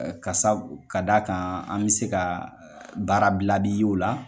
ka sabu ka d'a kan an bɛ se ka baara bila bi ye o la.